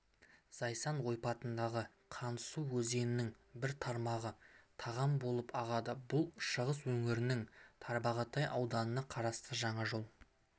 зайсан ойпатындағы қандысу өзенінің бір тармағы таған болып ағады бұл шығыс өңірінің тарбағатай ауданына қарасты жаңажол